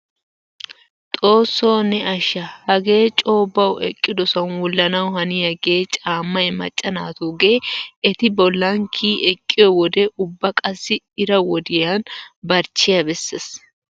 Xoossoo ne asha! hagee coo bawu eqqidosan wullanawu haniyaagee caammay macca naatugee eti bollan kiyi eqqiyoo wode ubba qassi ira wodiyaa barchchiyaa beesses.